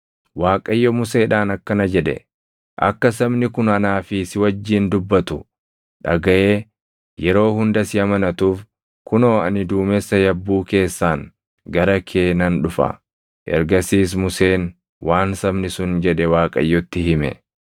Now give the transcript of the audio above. Waaqayyo Museedhaan akkana jedhe; “Akka sabni kun anaa si wajjin dubbatu dhagaʼee yeroo hunda si amanatuuf kunoo ani duumessa yabbuu keessaan gara kee nan dhufa.” Ergasiis Museen waan sabni sun jedhe Waaqayyotti hime.